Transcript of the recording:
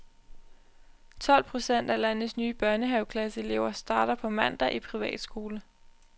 Tolv procent af landets nye børnehaveklasseelever starter på mandag i privatskole.